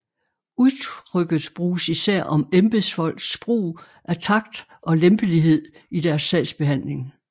Udtrykket bruges især om embedsfolks brug af takt og lempelighed i deres sagsbehandling